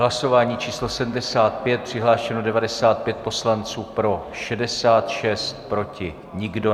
Hlasování číslo 75, přihlášeno 95 poslanců, pro 66, proti nikdo.